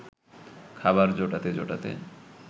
খাবার জোটাতে জোটাতে